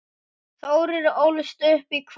Þórir ólst upp í Hvammi.